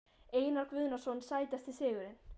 Einar Guðnason Sætasti sigurinn?